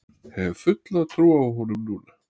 Hef fulla trú á honum núna.